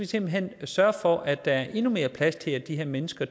simpelt hen sørge for at der er endnu mere plads til de her mennesker